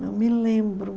Não me lembro.